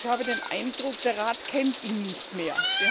Ich habe den Eindruck, der Rat kennt ihn nicht mehr.